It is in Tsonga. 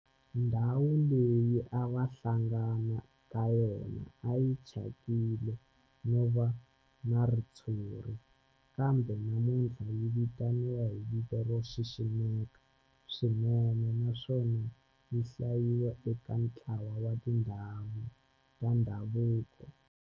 Ndhawu leyi a va hlangana ka yona a yi thyakile no va na ritshuri kambe namuntlha yi vitaniwa hi vito ro xiximeka swinene naswona yi hlayiwa eka ntlawa wa tindhawu ta ndhavuko.